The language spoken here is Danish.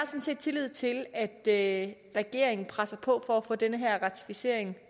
set tillid til at at regeringen presser på for at få den her ratificering